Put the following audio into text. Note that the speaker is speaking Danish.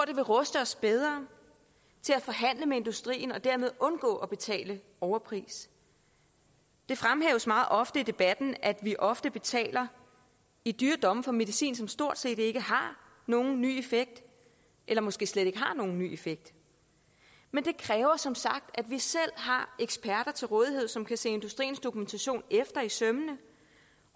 det vil ruste os bedre til at forhandle med industrien og dermed undgå at betale overpris det fremhæves meget ofte i debatten at vi ofte betaler i dyre domme for medicin som stort set ikke har nogen ny effekt eller måske slet ikke har nogen ny effekt men det kræver som sagt at vi selv har eksperter til rådighed som kan se industriens dokumentation efter i sømmene